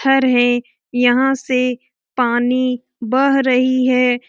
घर है यहां से पानी बह रही है।